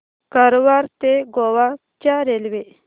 कारवार ते गोवा च्या रेल्वे